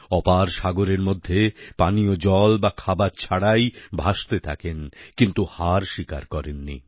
অপার সাগরের মধ্যে পানীয় জল বা খাবার ছাড়াই ভাসতে থাকেন কিন্তু হার স্বীকার করেন নি